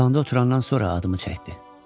Divanda oturandan sonra adımı çəkdi.